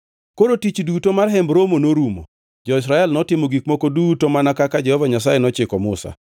Koro tich duto mar Hemb Romo norumo. Jo-Israel notimo gik moko duto mana kaka Jehova Nyasaye nochiko Musa.